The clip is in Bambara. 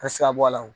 A sira bɔ a la o